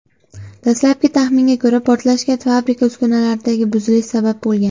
Dastlabki taxminga ko‘ra, portlashga fabrika uskunalaridagi buzilish sabab bo‘lgan.